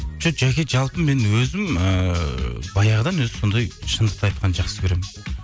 жоқ жаке жалпы мен өзім ыыы баяғыдан өзі сондай шындықты айтқанды жақсы көремін